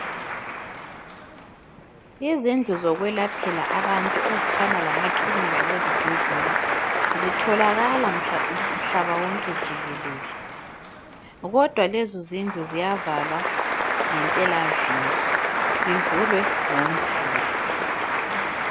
Izindlu zokwelaphela abantu ezifana lamakilinika lezibhedlela zitholakala mhlaba wonke jikelele. Kodwa lezo zindlu ziyavalwa ngempelaviki, zivulwe ngoMvulo.